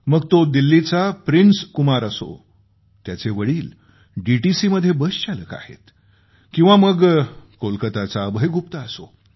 मग तो दिल्लीचा प्रिन्स कुमार असो त्याचे वडील डीटीसीमध्ये बसचालक आहेत किंवा मग कोलकाताचा अभय गुप्ता असो